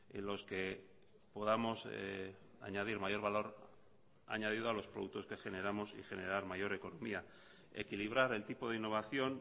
en los que podamos añadir mayor valor añadido a los productos que generamos y generar mayor economía equilibrar el tipo de innovación